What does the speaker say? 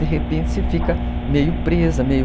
De repente você fica meio presa, meio...